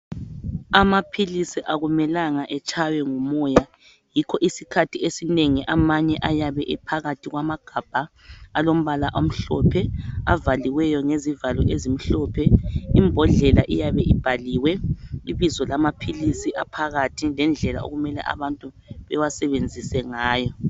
Amaphilisi akumelanga etshaywe ngumoya yikho isikhathi esinengi amanye ayabe ephakathi kwamagabha alombala omhlophe avaliweyo ngezivalo ezimhlophe imbodlela iyabe ibhaliwe ibizo lamaphilisi aphakathi lendlela okumele abantu bewasebenzise ngayo.